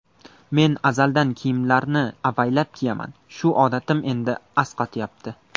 Men azaldan kiyimlarni avaylab kiyaman, shu odatim endi asqatyapti.